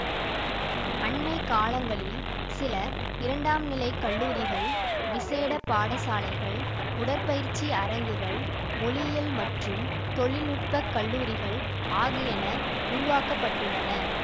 அண்மை காலங்களில் சில இரண்டாம் நிலை கல்லூரிகள் விசேட பாடசாலைகள் உடற்பயிற்சி அரங்குகள் மொழியியல் மற்றும் தொழில்நுட்ப கல்லூரிகள் ஆகியன உருவாக்க பட்டுள்ளன